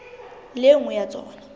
le e nngwe ya tsona